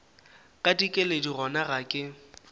ka dikeledi gona ga ke